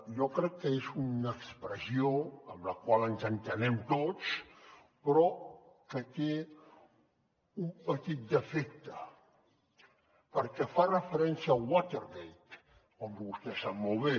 jo crec que és una expressió amb la qual ens entenem tots però que té un petit defecte perquè fa referència al watergate com vostè sap molt bé